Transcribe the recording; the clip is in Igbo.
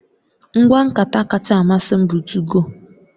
Ngwa nkata kacha amasị m bụ 2go